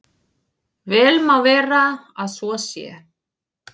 Vel má vera að svo sé.